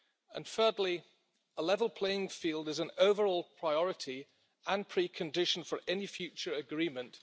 And thirdly, a level playing field is an overall priority and precondition for any future agreement.